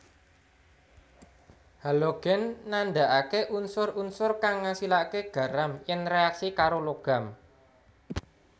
Halogen nandhakaké unsur unsur kang ngasilaké garam yèn reaksi karo logam